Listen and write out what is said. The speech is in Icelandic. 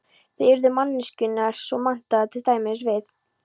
Þá yrðu manneskjurnar svo menntaðar, til dæmis við